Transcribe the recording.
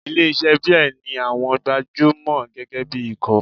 Ilé iṣẹ́ beer ní àwọn gbajúmọ̀ gẹ́gẹ́ bí ikọ̀.